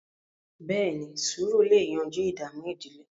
beeni, sùúrù lẹ yanjú ìdààmú ìdílé